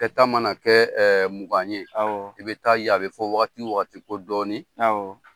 ta mana kɛ mugan ye i bɛ taa ye a bɛ fɔ ko waati wo waati ko dɔɔnin